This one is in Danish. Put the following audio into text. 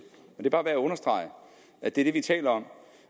er bare værd at understrege at det er det vi taler om